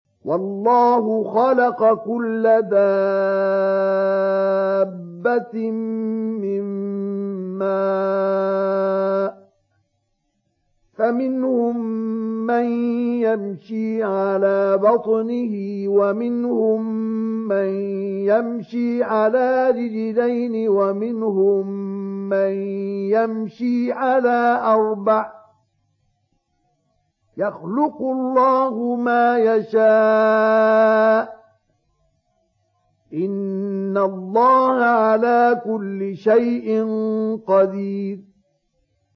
وَاللَّهُ خَلَقَ كُلَّ دَابَّةٍ مِّن مَّاءٍ ۖ فَمِنْهُم مَّن يَمْشِي عَلَىٰ بَطْنِهِ وَمِنْهُم مَّن يَمْشِي عَلَىٰ رِجْلَيْنِ وَمِنْهُم مَّن يَمْشِي عَلَىٰ أَرْبَعٍ ۚ يَخْلُقُ اللَّهُ مَا يَشَاءُ ۚ إِنَّ اللَّهَ عَلَىٰ كُلِّ شَيْءٍ قَدِيرٌ